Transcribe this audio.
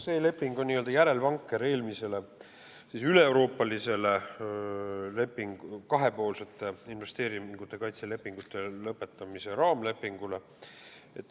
See leping on n-ö järelvanker eelmisele üleeuroopalisele lepingule, kahepoolsete investeeringute kaitse lepingute lõpetamise raamlepingule.